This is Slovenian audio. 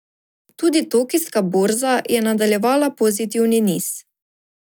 Tudi tokijska borza je nadaljevala pozitivni niz.